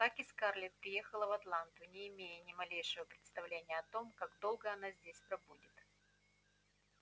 так и скарлетт приехала в атланту не имея ни малейшего представления о том как долго она здесь пробудет